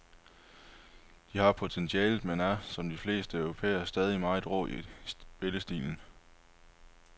De har potentialet, men er, som de fleste europæere, stadig meget rå i spillestilen.